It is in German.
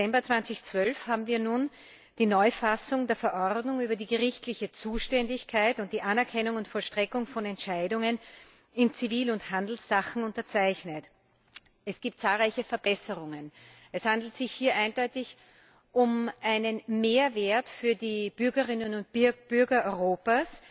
12. Dezember 2012 haben wir nun die Neufassung der Verordnung über die gerichtliche Zuständigkeit und die Anerkennung und Vollstreckung von Entscheidungen in Zivil und Handelssachen unterzeichnet. Es gibt zahlreiche Verbesserungen Es handelt sich hier eindeutig um einen Mehrwert für die Bürgerinnen und Bürger Europas.